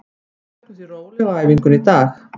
Við tökum því rólega á æfingunni í dag.